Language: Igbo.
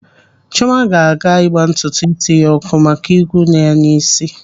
Chiọma ga-aga ịgba ntutu ísí ya ọkụ maka ị́gwụ́ nọ ya n'ị́sị́.